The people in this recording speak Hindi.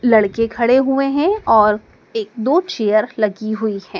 लड़के खड़े हुए हैं और एक दो चेयर लगी हुई हैं।